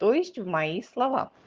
то есть в мои слова